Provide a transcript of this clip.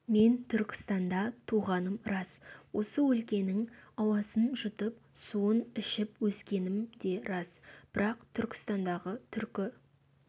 мен түркістанда туғаным рас осы өлкенің ауасын жұтып суын ішіп өскенім де рас бірақ түркістандағы түркі